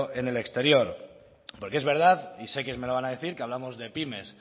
en el exterior porque es verdad y sé que me lo van a decir que hablamos de pymes